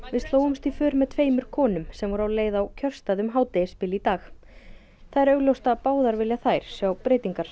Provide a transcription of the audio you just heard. við slógust í för með tveimur konum sem voru á leið á kjörstað um hádegisbil í dag það er augljóst að báðar vilja þær sjá breytingar